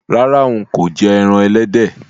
Rárá, n kò je ẹran ẹlẹ́dẹ̀